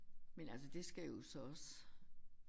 Men altså det skal jo så også